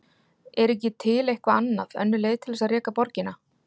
Er ekki til eitthvað annað, önnur leið til þess að reka borgina?